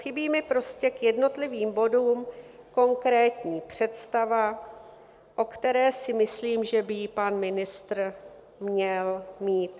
Chybí mi prostě k jednotlivým bodům konkrétní představa, o které si myslím, že by ji pan ministr měl mít.